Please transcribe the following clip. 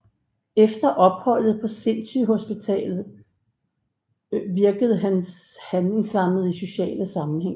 Efter opholdet på sindssygehuset virkede han handlingslammet i sociale sammenhænge